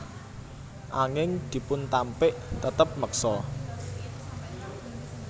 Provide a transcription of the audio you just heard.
Anging dipuntampik tetep meksa